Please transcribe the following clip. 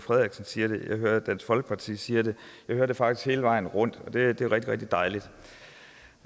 frederiksen siger det jeg hører at dansk folkeparti siger det jeg hører det faktisk hele vejen rundt og det er rigtig rigtig dejligt